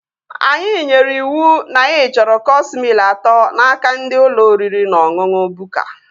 Anyị nyere iwu na anyị chọrọ cọọs mịl atọ n'aka ndị ụlọ oriri na ọṅụṅụ Bukka